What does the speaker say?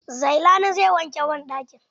Zailani zai wanke banɗakin.